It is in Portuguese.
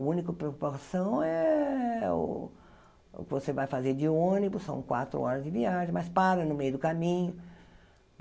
O único preocupação é o que você vai fazer de ônibus, são quatro horas de viagem, mas para no meio do caminho.